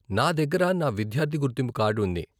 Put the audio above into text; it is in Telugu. నా దగ్గర నా విద్యార్థి గుర్తింపు కార్డు ఉంది .